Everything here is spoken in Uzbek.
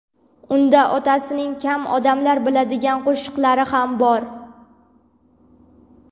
Unda otasining kam odamlar biladigan qo‘shiqlari ham bor.